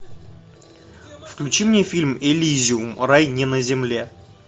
включи мне фильм элизиум рай не на земле